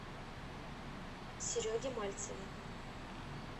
сереге мальцеве